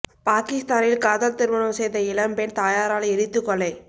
பாகிஸ்தானில் காதல் திருமணம் செய்த இளம் பெண் தாயாரால் எரித்து கொலை